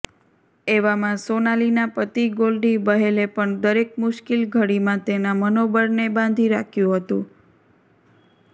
એવામાં સોનાલીના પતિ ગોલ્ડી બહેલે પણ દરેક મુશ્કિલ ઘડીમાં તેના મનોબળને બાંધી રાખ્યું હતું